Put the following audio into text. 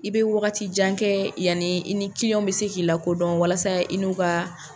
I bɛ wagati jan kɛ yanni i ni bɛ se k'i lakodɔn walasa i n'u ka